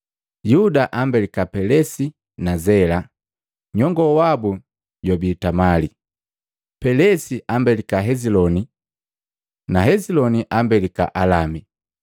Yuda ambelika Pelesi na Zela, nyongo wabu jwabii Tamali, Pelesi ambelika Heziloni na Heziloni ambelika Alami,